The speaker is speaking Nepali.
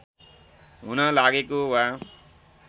हुन लागेको वा